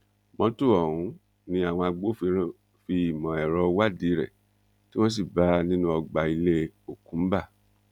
mọ́tò ọ̀hún ni àwọn agbófinró fi ìmọ̀ ẹ̀rọ wádìí rẹ tí wọn sì bá a nínú ọgbà ilé okumba